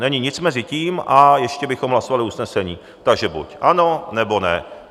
Není nic mezi tím a ještě bychom hlasovali usnesení, takže buď ano, nebo ne.